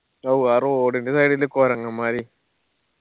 ഔ ആ road ന്റെ side ല് കൊരങ്ങന്മാരെ